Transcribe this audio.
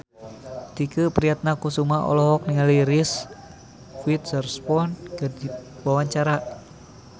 Tike Priatnakusuma olohok ningali Reese Witherspoon keur diwawancara